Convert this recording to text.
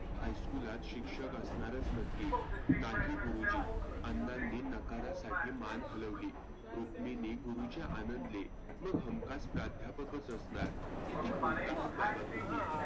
high school त शिक्षक असणारच नक्की. नाही गुरुजी अण्णांनी नकारासाठी मान हलवली. रुक्मिनी गुरुजी आनंदले. मग हमखास प्राध्यापकचं असणार. किती बोलता आहात बाबा तुम्ही.